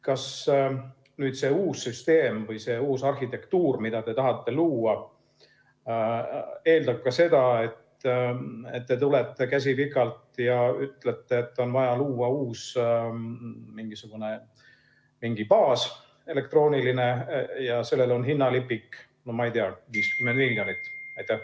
Kas nüüd see uus süsteem või uus arhitektuur, mida te tahate luua, eeldab ka seda, et te tulete, käsi pikalt, ja ütlete, et on vaja luua mingisugune uus elektrooniline baas, ja sellel on hinnalipik, no ma ei tea, 50 miljonit?